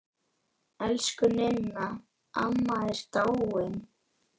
Elsku Ninna amma er dáin.